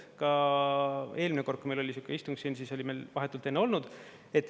Ka eelmine kord, kui meil oli sihuke istung siin, siis oli meil vahetult enne olnud.